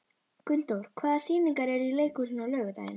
Gunndór, hvaða sýningar eru í leikhúsinu á laugardaginn?